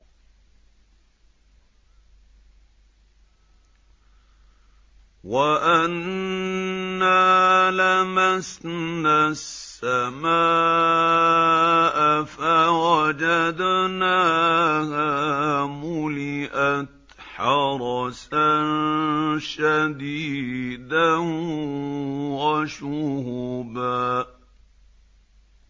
وَأَنَّا لَمَسْنَا السَّمَاءَ فَوَجَدْنَاهَا مُلِئَتْ حَرَسًا شَدِيدًا وَشُهُبًا